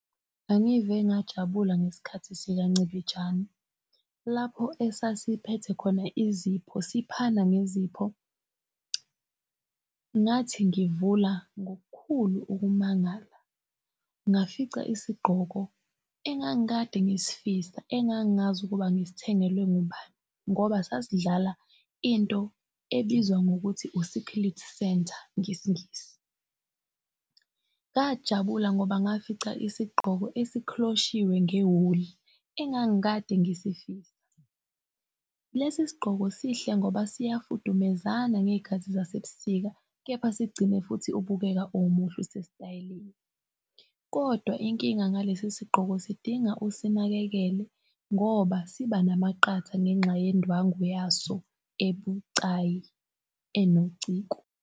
Angive ngajabula ngesikhathi sikancibijane, lapho esasiphethe khona izipho siphana ngezipho. Ngathi ngivula ngokukhulu ukumangala, ngafica isigqoko engangikade ngisfisa engangazi ukuba ngisithengelwe ngubani ngoba, sasidlala into ebizwa ngokuthi u-secret center ngesingisi. Ngajabula ngoba ngafica isigqoko esikhroshiwe ngewuli engangikade ngisifisa. Lesi sigqoko sihle ngoba siyafudumezana ngey'khathi zaseb'sika, kepha sik'gcine futhi ubukeka umuhle usesitayeleni. Kodwa inkinga ngalesi sigqoko sidinga usinakekele ngoba siba namaqatha ngenxa yendwangu yaso ebucayi enociko.